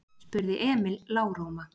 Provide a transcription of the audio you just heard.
spurði Emil lágróma.